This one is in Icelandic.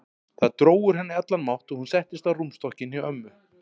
Það dró úr henni allan mátt og hún settist á rúmstokkinn hjá ömmu.